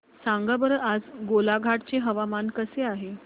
सांगा बरं आज गोलाघाट चे हवामान कसे आहे